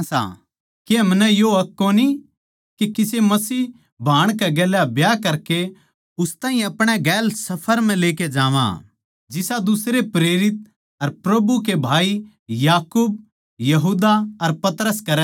के हमनै यो हक कोनी के किसे मसीह भाण कै गेल्या ब्याह करकै उस ताहीं अपणे गेल सफर म्ह लेकै जावां जिसा दुसरे प्रेरित अर प्रभु का भाई याकूब यहूदा अर पतरस करै सै